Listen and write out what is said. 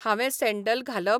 हांवे सॅंडल घालप?